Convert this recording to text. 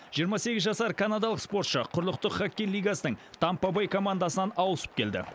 жиырма сегіз жасар канадалық спортшы құрлықтық хоккей лигасының тампа бэй командасынан ауысып келді